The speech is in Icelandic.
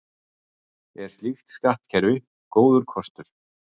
Er slíkt skattkerfi góður kostur?